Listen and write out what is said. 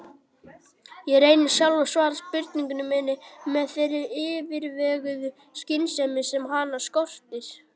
Ég reyni sjálf að svara spurningu minni með þeirri yfirveguðu skynsemi sem hana skortir.